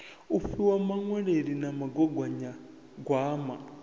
u fhiwa muṅwaleli na mugaganyagwama